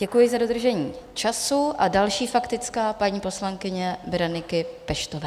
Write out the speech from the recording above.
Děkuji za dodržení času a další faktická paní poslankyně Bereniky Peštové.